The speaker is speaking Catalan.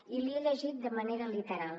i l’hi he llegit de manera literal